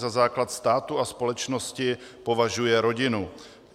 Za základ státu a společnosti považuje rodinu.